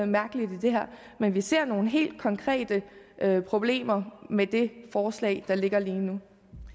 mærkeligt i det her men vi ser nogle helt konkrete problemer med det forslag der ligger lige nu